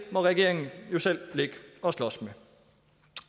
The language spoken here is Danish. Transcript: må regeringen jo selv ligge og slås med